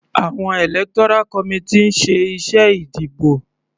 Àwọn electoral committee ní ń ṣe iṣẹ́ ìdìbò.